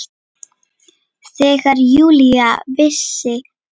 Þegar Júlía vissi að